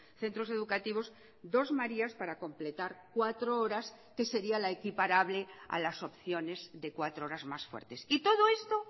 centros educativos dos marías para completar cuatro horas que sería la equiparable a las opciones de cuatro horas más fuertes y todo esto